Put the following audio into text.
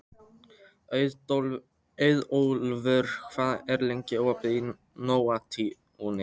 Auðólfur, hvað er lengi opið í Nóatúni?